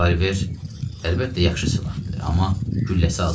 Revolver əlbəttə yaxşı silahdır, amma gülləsi azdır.